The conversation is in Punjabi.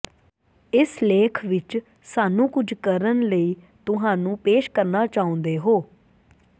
ਇਸ ਲੇਖ ਵਿਚ ਸਾਨੂੰ ਕੁਝ ਕਰਨ ਲਈ ਤੁਹਾਨੂੰ ਪੇਸ਼ ਕਰਨਾ ਚਾਹੁੰਦੇ ਹੋ